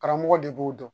Karamɔgɔ de b'o dɔn